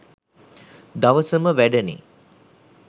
දවසම වැඩනෙ